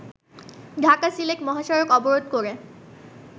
ঢাকা-সিলেট মহাসড়ক অবরোধ করে